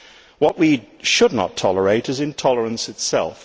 What we should not tolerate is intolerance itself.